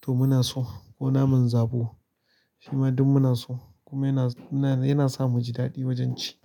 to muna so ko naman zabo shima duk muna so kuma yana, yanasa muji daɗi wajen ci.